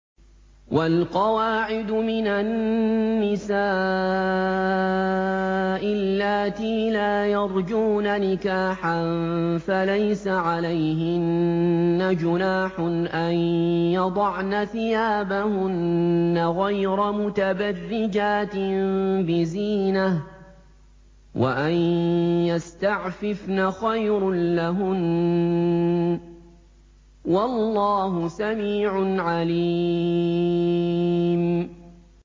وَالْقَوَاعِدُ مِنَ النِّسَاءِ اللَّاتِي لَا يَرْجُونَ نِكَاحًا فَلَيْسَ عَلَيْهِنَّ جُنَاحٌ أَن يَضَعْنَ ثِيَابَهُنَّ غَيْرَ مُتَبَرِّجَاتٍ بِزِينَةٍ ۖ وَأَن يَسْتَعْفِفْنَ خَيْرٌ لَّهُنَّ ۗ وَاللَّهُ سَمِيعٌ عَلِيمٌ